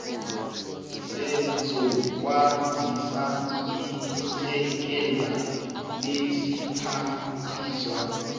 sezokwazisa isekela lesiphathiswa